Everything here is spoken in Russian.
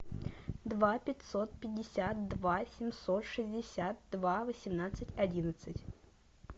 два пятьсот пятьдесят два семьсот шестьдесят два восемнадцать одиннадцать